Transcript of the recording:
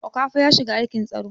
Okafo ya shiga aikin tsaro